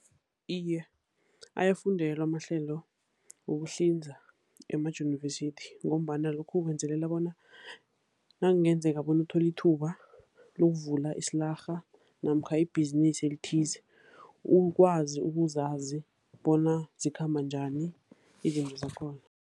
Iye, ayafundelwa amahlelo wokuhlinza emajunivesithi, ngombana lokhu ukwenzelela bona nakungenzeka bona uthole ithuba lokuvula isilarha namkha ibhizinisi elithize ukwazi ukuzazi bona zikhamba njani izinto zakhona.